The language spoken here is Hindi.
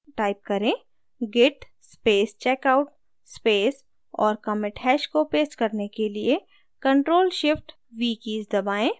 type करें: git space checkout space और commit hash को paste करने के लिए ctrl + shift + v कीज़ दबाएँ